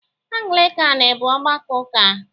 Anglịkan bụ ọgbakọ ụka